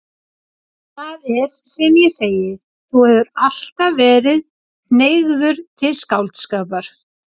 Það er sem ég segi: Þú hefur alltaf verið hneigður til skáldskapar.